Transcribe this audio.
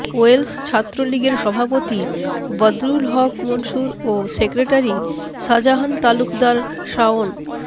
Wales ছাত্রলীগের সভাপতি বদরুল হক মনসুর ও সেক্রেটারি শাজাহান তালুকদার শাওন